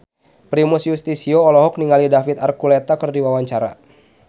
Primus Yustisio olohok ningali David Archuletta keur diwawancara